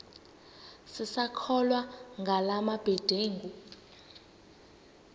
sisakholwa ngala mabedengu